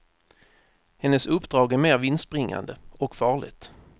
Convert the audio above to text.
Hennes uppdrag är mer vinstbringande, och farligt.